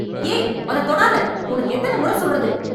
ஏய் ! அத தொடாத! உனக்கு எத்தன மொற சொல்றது?